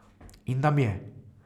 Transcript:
In nam je.